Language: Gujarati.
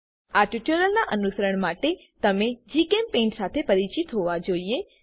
આ ટ્યુટોરીયલનાં અનુસરણ માટે તમે જીચેમ્પેઇન્ટ સાથે પરિચિત હોવા જોઈએ